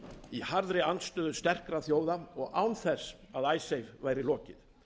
í harðri andstöðu sterkra þjóða og án þess að icesave væri lokið